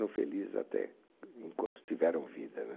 Felizes até, enquanto tiveram vida né